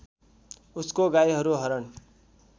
उसको गाईहरू हरण